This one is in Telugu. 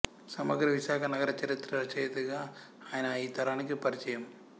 సమగ్ర విశాఖ నగర చరిత్ర రచయితగా ఆయన ఈ తరానికి పరిచయం